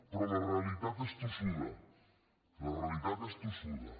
però la realitat és tossuda la realitat és tossuda